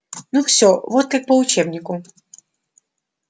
ну всё вот как по учебнику